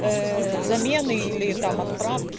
ээ замены или там отправки